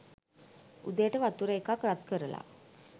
උදේට වතුර එකක් රත් කරලා